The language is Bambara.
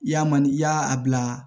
I y'a man ni i y'a a bila